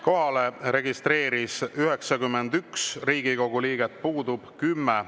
Kohalolijaks registreeris ennast 91 Riigikogu liiget, puudub 10.